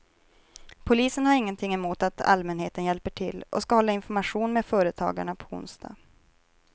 Polisen har inget emot att allmänheten hjälper till och ska hålla information med företagarna på onsdag.